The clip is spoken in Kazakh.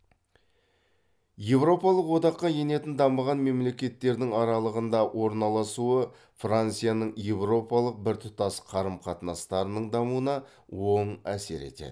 еуропалық одаққа енетін дамыған мемлекеттердің аралығында орналасуы францияның еуропалық біртұтас қарым қатынастарының дамуына оң әсер етеді